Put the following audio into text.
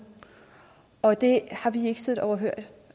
og det har vi ikke siddet overhørig